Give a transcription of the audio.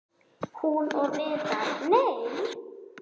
Hún og Viðar- nei!